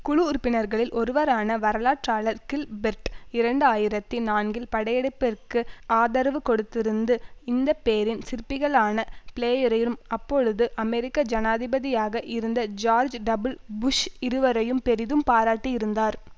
குழு உறுப்பினர்களில் ஒருவரான வரலாற்றாளர் கில்பெர்ட் இரண்டு ஆயிரத்தி நான்கில் படையெடுப்பிற்கு ஆதரவு கொடுத்திருந்து இந்த பேரின் சிற்பிகளான பிளேயரைரும் அப்பொழுது அமெரிக்க ஜனாதிபதியாக இருந்த ஜோர்ஜ் டபுள் புஷ் இருவரையும் பெரிதும் பாராட்டியிருந்தார்